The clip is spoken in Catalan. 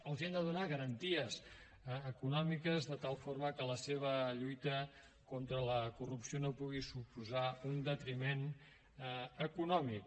els hem de donar garanties econòmiques de tal forma que la seva lluita contra la corrupció no pugui suposar un detriment econòmic